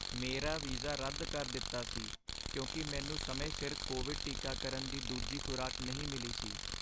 ਮੇਰਾ ਵੀਜ਼ਾ ਰੱਦ ਕਰ ਦਿੱਤਾ ਸੀ ਕਿਉਂਕਿ ਮੈਨੂੰ ਸਮੇਂ ਸਿਰ ਕੋਵਿਡ ਟੀਕਾਕਰਨ ਦੀ ਦੂਜੀ ਖ਼ੁਰਾਕ ਨਹੀਂ ਮਿਲੀ ਸੀ।